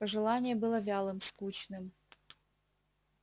пожелание было вялым скучным